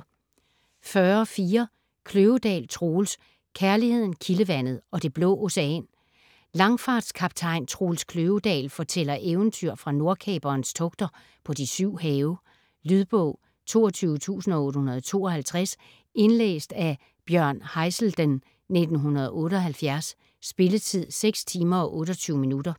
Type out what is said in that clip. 40.4 Kløvedal, Troels: Kærligheden, kildevandet ... og det blå ocean Langfartskaptajn Troels Kløvedal fortæller eventyr fra Nordkaperens togter på de syv have. Lydbog 22852 Indlæst af Bjørn Haizelden, 1978. Spilletid: 6 timer, 28 minutter.